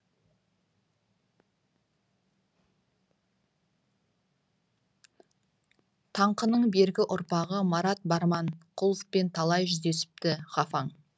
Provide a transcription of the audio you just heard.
таңқының бергі ұрпағы марат барманқұловпен талай жүздесіпті ғафаң